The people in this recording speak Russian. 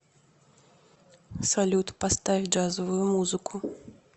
салют поставь джазовую музыку